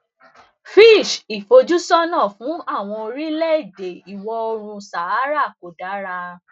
fitch ìfojúsónà fún àwọn orílẹèdè ìwọ oòrùn sahara kò dára